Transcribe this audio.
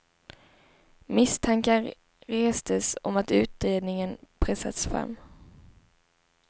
Misstankar restes om att utredningen pressats fram.